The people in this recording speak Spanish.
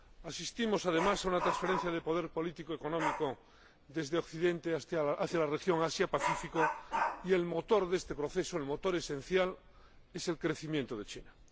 Asistimos, además, a una transferencia de poder político económico desde Occidente hacia la región Asia Pacífico, y el motor de este proceso, el motor esencial, es el crecimiento de China.